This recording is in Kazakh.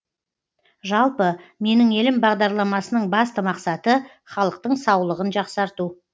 жалпы менің елім бағдарламасының басты мақсаты халықтың саулығын жақсарту